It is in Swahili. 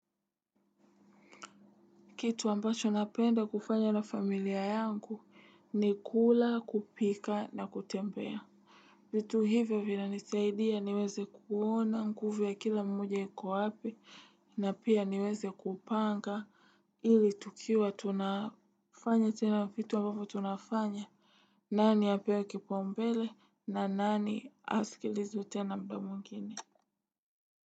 Kitu ambacho napenda kufanya na familia yangu ni kula, kupika na kutembea. Vitu hivyo vinanisaidia niweze kuona nguvu ya kila mmoja iko wapi na pia niweze kupanga ili tukiwa tunafanya tena vitu ambavo tunafanya. Nani apewe kipao mbele na nani askilizwe tena muda mwingine?